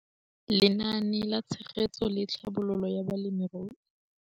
Lenaane la Tshegetso le Tlhabololo ya Balemirui